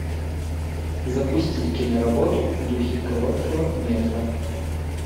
запусти киноработу в духе короткого метра